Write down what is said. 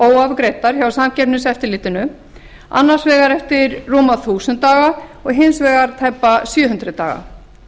óafgreiddar hjá samkeppniseftirlitinu annars vegar eftir rúma þúsund daga og hins vegar eftir tæpa sjö hundruð daga